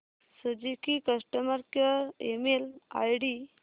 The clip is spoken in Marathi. Suzuki customer care email ID